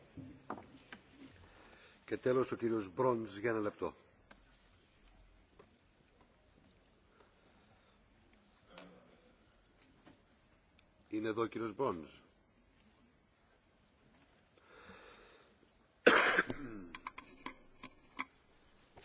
Mr President, the countries of the European Union